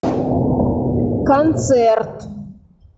концерт